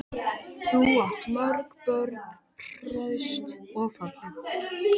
Þú átt mörg börn, hraust og falleg.